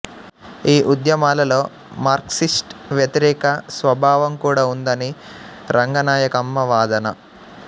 ఈ ఉద్యమాలలో మార్క్సిస్ట్ వ్యతిరేక స్వభావం కూడా ఉందని రంగనాయకమ్మ వాదన